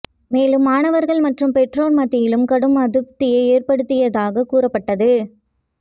மேலும் மாணவர்கள் மற்றும் பெற்றோர் மத்தியிலும் கடும் அதிருப்தியை ஏற்படுத்தியதாக கூறப்பட்டது